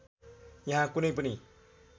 यहाँ कुनै पनि